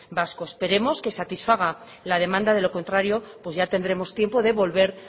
vasco esperemos que satisfaga la demanda de lo contrario pues ya tendremos tiempo de volver